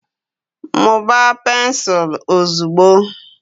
mụbaa pensụl ozugbo!